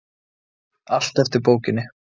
Allt eftir bókinni.